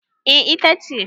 eh ita ce